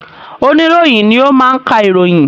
Oníròyìn ni ó máa ń ka ìròyìn